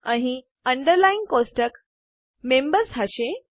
અહીં underlying table members હશે